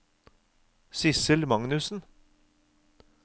Sidsel Magnussen